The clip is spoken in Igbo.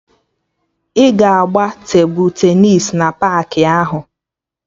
Ị ga-agba tebụl tenịs na paakị ahụ